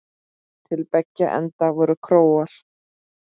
Til beggja enda voru kórar.